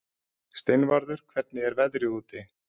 Steinvarður, hvernig er veðrið úti?